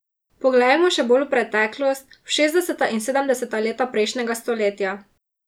Poglejmo še bolj v preteklost, v šestdeseta in sedemdeseta leta prejšnjega stoletja.